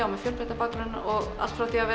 með fjölbreyttan bakgrunn allt frá því að